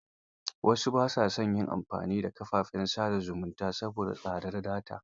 Wasu ba sa son yin amfani da kafafen sa da zumunta saboda tsadar data.